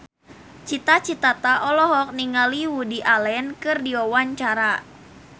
Cita Citata olohok ningali Woody Allen keur diwawancara